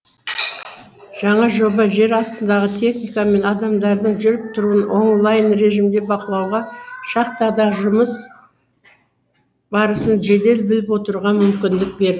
жаңа жоба жер астындағы техника мен адамдардың жүріп тұруын онлайн режимде бақылауға шахтадағы жұмыс барысын жедел біліп отыруға мүмкіндік бер